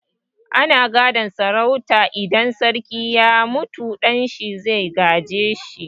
Ana gadon sarauta, idan sarki ya mutu ɗan shi zai gaje shi.